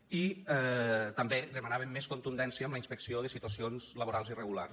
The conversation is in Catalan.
i també demanàvem més contundència en la inspecció de situacions laborals irregulars